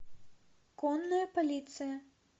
конная полиция